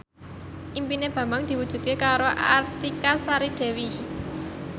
impine Bambang diwujudke karo Artika Sari Devi